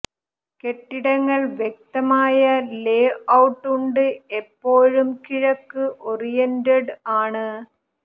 കെട്ടിടങ്ങൾ വ്യക്തമായ ലേഔട്ട് ഉണ്ട് എപ്പോഴും കിഴക്ക് ഓറിയന്റഡ് ആണ്